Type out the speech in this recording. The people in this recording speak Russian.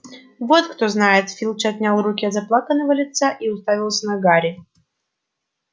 вот кто знает филч отнял руки от заплаканного лица и уставился на гарри